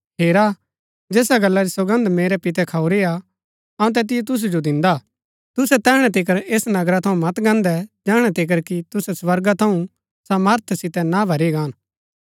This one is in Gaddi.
हेरा जैसा गल्ला री सौगन्द मेरै पितै खऊरीआ अऊँ तैतिओ तुसु जो दिन्दा तुसै तैहणै तिकर ऐस नगरा थऊँ मत गान्दै जैहणै तिकर कि तुसै स्वर्गा थऊँ सामर्थ सितै ना भरी गाहन